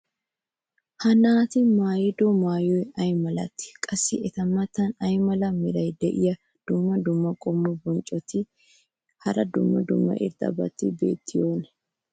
ha naati maayido maayoy ay malatii? qassi eta matan ay mala meray diyo dumma dumma qommo bonccotinne hara dumma dumma irxxabati beetiyoonaa?